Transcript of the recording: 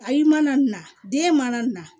Ayi mana na den mana na